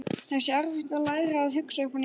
Það sé erfitt að læra að hugsa upp á nýtt.